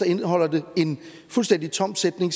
indeholder det en fuldstændig tom sætning